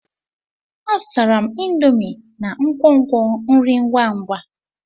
Azụtara m indomie na nkwonkwo nri ngwa ngwa.